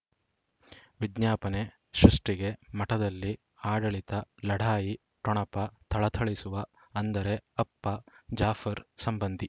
ವಿಜ್ಞಾಪನೆ ಸೃಷ್ಟಿಗೆ ಮಠದಲ್ಲಿ ಆಡಳಿತ ಲಢಾಯಿ ಠೊಣಪ ಥಳಥಳಿಸುವ ಅಂದರೆ ಅಪ್ಪ ಜಾಫರ್ ಸಂಬಂಧಿ